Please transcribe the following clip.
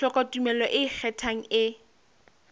hloka tumello e ikgethang e